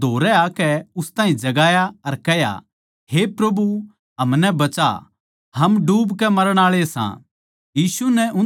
फेर चेल्यां नै धोरै आकै उस ताहीं जगाया अर कह्या हे प्रभु हमनै बचा हम डूबके मरण आळे सां